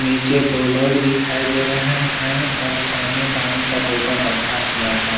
पीछे दो लोग दिखाई दे रहे हैं और सामने पानी का बोतल रखा हुआ है।